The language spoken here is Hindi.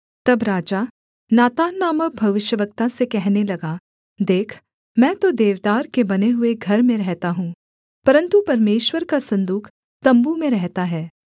तब राजा नातान नामक भविष्यद्वक्ता से कहने लगा देख मैं तो देवदार के बने हुए घर में रहता हूँ परन्तु परमेश्वर का सन्दूक तम्बू में रहता है